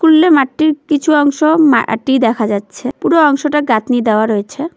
স্কুলের মাঠটির কিছু অংশ মাটি দেখা যাচ্ছে পুরো অংশটা গাঁথনি দেওয়া রয়েছে।